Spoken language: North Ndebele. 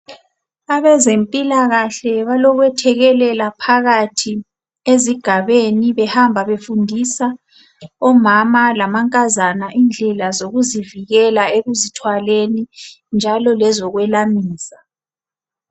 Abezempilakahle balokwethekelela phakathi ezigabeni behamba befundisa omama lamankazana indlela zokuzivikela ekuzithwaleni njalo lezokwelamisa.